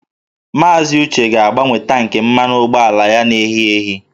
Maazị Uche ga-agbanwe tankị mmanụ ụgbọala ya na-ehi ehi